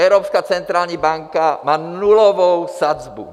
Evropská centrální banka má nulovou sazbu.